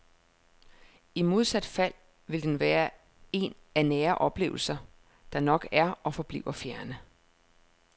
I modsat fald vil den være en af nære oplevelser, der nok er og forbliver fjerne.